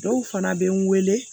Dɔw fana bɛ n weele